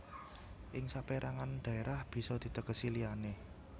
Ing saperangan dhaerah bisa ditegesi liyane